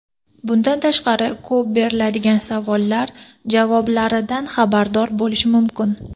Bundan tashqari, ko‘p beriladigan savollar javoblaridan xabardor bo‘lish mumkin.